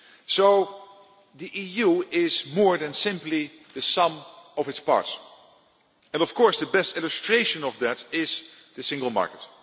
So the EU is more than simply the sum of its parts, and of course the best illustration of that is the single market.